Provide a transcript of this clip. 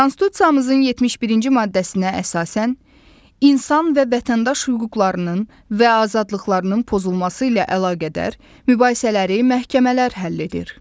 Konstitusiyamızın 71-ci maddəsinə əsasən insan və vətəndaş hüquqlarının və azadlıqlarının pozulması ilə əlaqədar mübahisələri məhkəmələr həll edir.